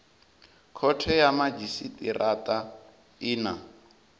khothe ya madzhisitirata i na